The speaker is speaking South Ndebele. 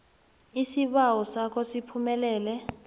isibawo sakho siphumelele